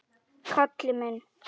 Kalli minn!